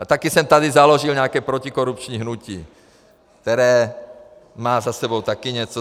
A taky jsem tady založil nějaké protikorupční hnutí, které má za sebou taky něco.